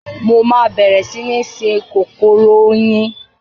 Mo máa bẹ̀rẹ̀ sí ní sin kòkòrò oyin.